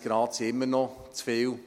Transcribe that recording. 20 Grad sind immer noch zu viel.